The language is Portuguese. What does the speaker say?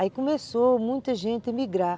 Aí começou muita gente a emigrar.